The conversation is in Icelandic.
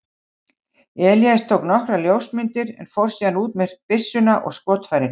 Elías tók nokkrar ljósmyndir en fór síðan út með byssuna og skotfærin.